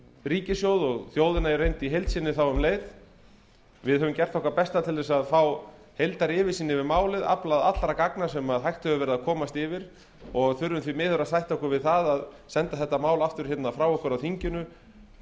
ríkissjóð og um leið þjóðina í heild við höfum gert okkar besta til þess að fá heildaryfirsýn yfir málið aflað allra gagna sem hægt hefur verið að komast yfir og þurfum því miður að sætta okkur við að senda málið aftur frá okkur á þinginu